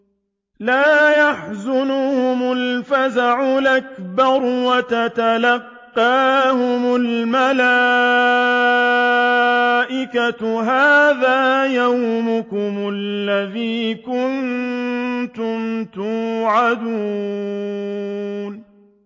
لَا يَحْزُنُهُمُ الْفَزَعُ الْأَكْبَرُ وَتَتَلَقَّاهُمُ الْمَلَائِكَةُ هَٰذَا يَوْمُكُمُ الَّذِي كُنتُمْ تُوعَدُونَ